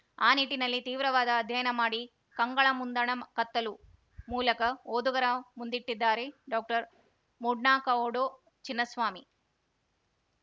ಆ ನಿಟ್ಟಿನಲ್ಲಿ ತೀವ್ರವಾದ ಅಧ್ಯಯನ ಮಾಡಿ ಕಂಗಳ ಮುಂದಣ ಕತ್ತಲು ಮೂಲಕ ಓದುಗರ ಮುಂದಿಟ್ಟಿದ್ದಾರೆ ಡಾಕ್ಟರ್ ಮೂಡ್ನಾಕೌಡು ಚಿನ್ನಸ್ವಾಮಿ